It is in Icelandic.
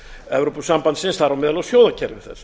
evrópusambandsins þar á meðal á sjóðakerfi þess